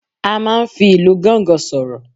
A máa n fi Ilu gangan soro